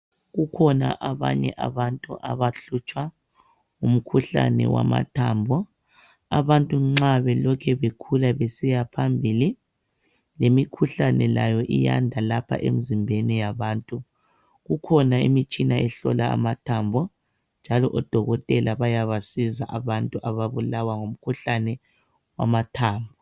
Kukhona abanye abantu abahluhlwa ngumkhuhlane wamathambo. Abantu nxa belokhu bekhula besiya phambili lemikhuhlane layo iyanda lapha emzimbeni yabantu. Kukhona imitshina ehlola amathambo njalo odokotela bayabasizi abantu ababulawa ngumkhuhlane wamathambo.